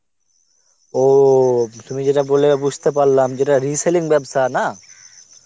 ও তুমি যেটা বললে এবার বুজতে পারলাম, যেটা reselling ব্যবসা না?